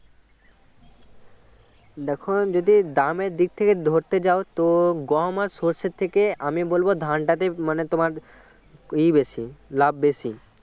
দেখো যদি দামের দিক থেকে ধরতে যাও তো গম সর্ষের থেকে আমি বলব ধানটা তে মানে তোমার ই বেশি লাভ বেশি